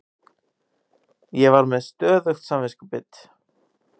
Ég var með stöðugt samviskubit.